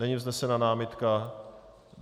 Není vznesena námitka.